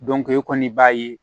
e kɔni b'a ye